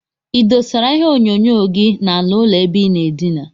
Idosara ihe onyonyo gi na ala ụlọ ebe inaa edina?